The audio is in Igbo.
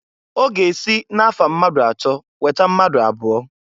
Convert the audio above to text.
Ọ ga-esi na-afa mmadụ atọ weta mmadụ abụọ.